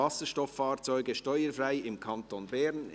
«Wasserstofffahrzeuge steuerfrei im Kanton Bern!».